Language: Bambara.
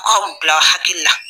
u k'a o bila u hakili la.